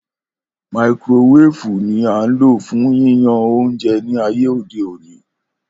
Makirowefu ni a n lo fun yíyan ounjẹ ni ayé ode oni